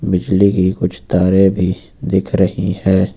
बिजली की कुछ तारें भी दिख रही हैं।